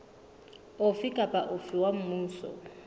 ofe kapa ofe wa mmuso